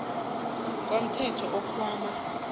komthelo iinkhwama